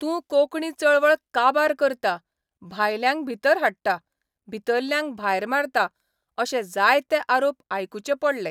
तूं कोंकणी चळवळ काबार करता, भायल्यांक भितर हाडटा, भितरल्यांक भायर मारता अशे जायते आरोप आयकुचे पडले.